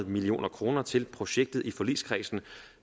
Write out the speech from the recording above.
million kroner til projektet i forligskredsen